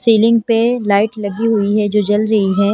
Ceiling पे light लगी हुई हैजो जल रही है।